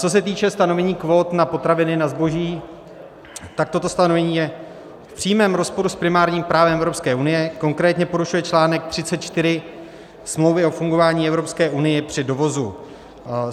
Co se týče stanovení kvót na potraviny, na zboží, tak toto stanovení je v přímém rozporu s primárním právem Evropské unie, konkrétně porušuje článek 34 Smlouvy o fungování Evropské unie při dovozu.